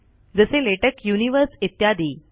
जसे latex universe इत्यादी